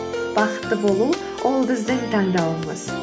бақытты болу ол біздің таңдауымыз